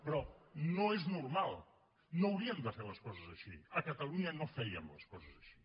però no és normal no hauríem de fer les coses així a catalunya no fèiem les coses així